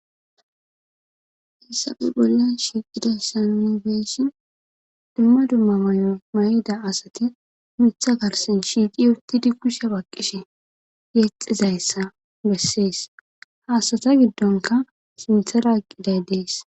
hessafe bolla shiiqida sannibeyshin dumma dumma may7o may7da asati mitha garsen shiiqi urtidi kushe baqqishe geexizayssa bessees haasata giddonka sintha raaqqiday dees